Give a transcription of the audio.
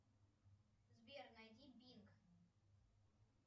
сбер найди бинг